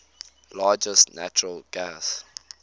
largest natural gas